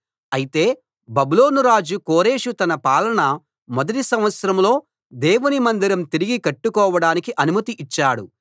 అయితే బబులోను రాజు కోరెషు తన పాలన మొదటి సంవత్సరంలో దేవుని మందిరం తిరిగి కట్టుకోవడానికి అనుమతి ఇచ్చాడు